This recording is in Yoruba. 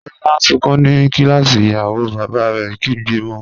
Lola n sunkun ni kilasi, iyawo baba rẹ kigbe mo.